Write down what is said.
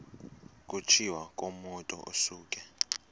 kutshiwo kumotu osuke